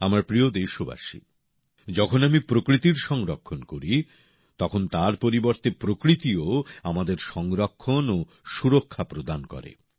আমার প্রিয় দেশবাসী যখন আমি প্রকৃতির সংরক্ষণ করি তখন তার পরিবর্তে প্রকৃতি ও আমাদের সংরক্ষণ ও সুরক্ষা প্রদান করে